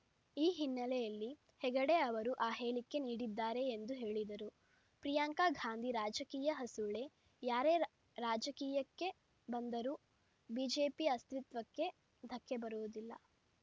ಈ ಹಿನ್ನೆಲೆಯಲ್ಲಿ ಹೆಗಡೆ ಅವರು ಆ ಹೇಳಿಕೆ ನೀಡಿದ್ದಾರೆ ಎಂದು ಹೇಳಿದರು ಪ್ರಿಯಾಂಕಾ ಗಾಂಧಿ ರಾಜಕೀಯ ಹಸುಳೆ ಯಾರೇ ರ ರಾಜಕೀಯಕ್ಕೆ ಬಂದರೂ ಬಿಜೆಪಿ ಅಸ್ತಿತ್ವಕ್ಕೆ ಧಕ್ಕೆ ಬರುವುದಿಲ್ಲ